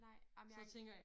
Nej ej men jeg ikke